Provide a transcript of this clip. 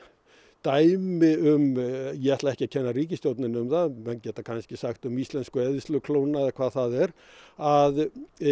dæmi um ég ætla ekki að kenna ríkisstjórninni um það menn geta kannski sagt um íslensku eyðsluklóna eða hvað það er að